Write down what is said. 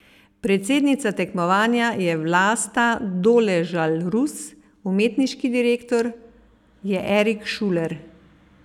Predsednica tekmovanja je Vlasta Doležal Rus, umetniški direktor je Erik Šuler.